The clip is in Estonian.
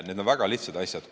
Need on väga lihtsad asjad.